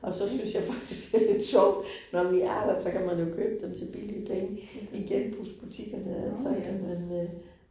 Og så synes jeg faktisk det lidt sjovt, når vi er der, så kan man jo købe dem til billige penge i genbrugsbutikkerne altså ja, men øh